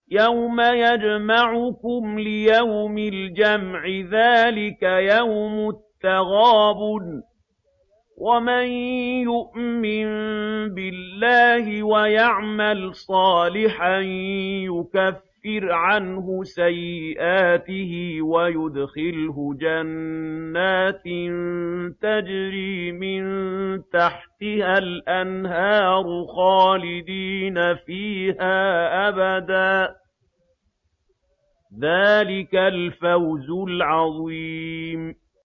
يَوْمَ يَجْمَعُكُمْ لِيَوْمِ الْجَمْعِ ۖ ذَٰلِكَ يَوْمُ التَّغَابُنِ ۗ وَمَن يُؤْمِن بِاللَّهِ وَيَعْمَلْ صَالِحًا يُكَفِّرْ عَنْهُ سَيِّئَاتِهِ وَيُدْخِلْهُ جَنَّاتٍ تَجْرِي مِن تَحْتِهَا الْأَنْهَارُ خَالِدِينَ فِيهَا أَبَدًا ۚ ذَٰلِكَ الْفَوْزُ الْعَظِيمُ